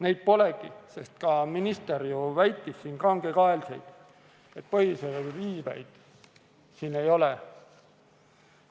Neid polegi, sest ka minister ju väitis kangekaelselt, et põhiseaduse riivet siin ei ole.